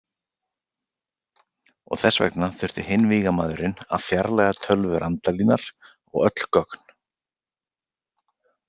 Og þess vegna þurfti hinn vígamaðurinn að fjarlægja tölvur Randalínar og öll gögn.